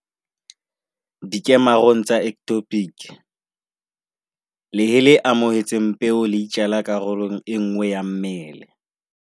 "Dikemarong tsa ectopic, lehe le amohetseng peo le itjala karolong enngwe ya mmele."